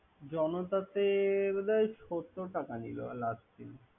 জনপথেটাতে বোধহয় সত্তর টাকা নিবে। ।